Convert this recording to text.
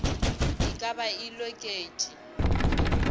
e ka ba e loketše